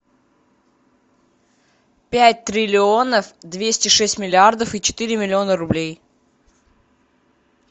пять триллионов двести шесть миллиардов и четыре миллиона рублей